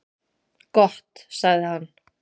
Gott sagði hann.